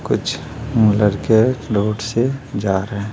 कुछ लड़के रोड से जा रहे है।